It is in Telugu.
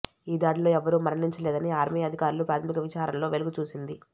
ఈ దాడిలో ఎవ్వరూ మరణించలేదని ఆర్మీఅధికారుల ప్రాథమిక విచారణలో వెలుగు చూసింది